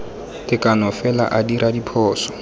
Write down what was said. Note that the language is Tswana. tekano fela a dira diphoso